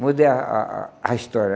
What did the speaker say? Mudei a a a a história.